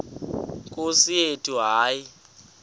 nkosi yethu hayi